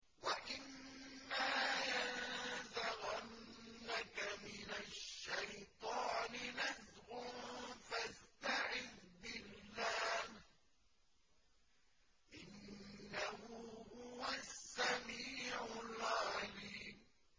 وَإِمَّا يَنزَغَنَّكَ مِنَ الشَّيْطَانِ نَزْغٌ فَاسْتَعِذْ بِاللَّهِ ۖ إِنَّهُ هُوَ السَّمِيعُ الْعَلِيمُ